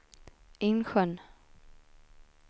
Insjön